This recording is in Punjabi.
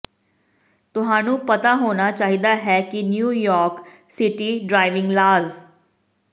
ਤੁਹਾਨੂੰ ਪਤਾ ਹੋਣਾ ਚਾਹੀਦਾ ਹੈ ਕਿ ਨਿਊਯਾਰਕ ਸਿਟੀ ਡ੍ਰਾਈਵਿੰਗ ਲਾਅਜ਼